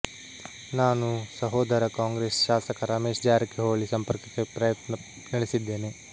ನಾನು ಸಹೋದರ ಕಾಂಗ್ರೆಸ್ ಶಾಸಕ ರಮೇಶ್ ಜಾರಕಿಗೊಳಿ ಸಂಪರ್ಕಕ್ಕೆ ಪ್ರಯತ್ನ ನಡೆಸಿದ್ದೇನೆ